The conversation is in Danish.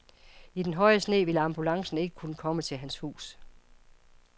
I den høje sne ville ambulancen ikke kunne komme til hans hus.